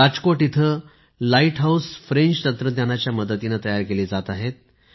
राजकोट इथे lighthouse French तंत्रज्ञानाच्या मदतीने तयार केले जात आहेत